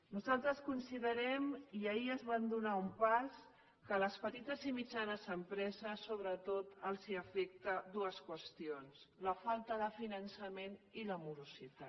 nosaltres considerem i ahir es va donar un pas que a les petites i mitjanes empreses els afecten sobretot dues qüestions la falta de finançament i la morositat